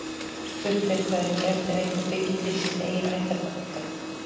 Spurt er hvað yrði gert ef einhver byggi til sitt eigið ættarnafn í dag.